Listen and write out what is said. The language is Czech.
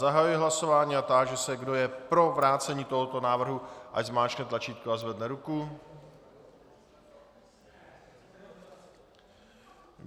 Zahajuji hlasování a táži se, kdo je pro vrácení tohoto návrhu, ať zmáčkne tlačítko a zvedne ruku.